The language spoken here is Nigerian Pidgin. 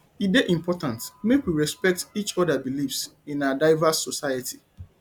e dey important make we respect each oda beliefs in our diverse society